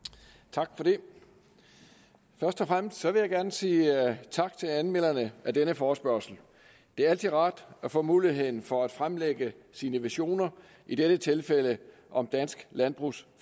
tak for det først og fremmest vil jeg gerne sige tak til anmelderne af denne forespørgsel det er altid rart at få mulighed for at fremlægge sine visioner i dette tilfælde om dansk landbrugs